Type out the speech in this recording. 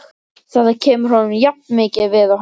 Þetta kemur honum jafnmikið við og henni.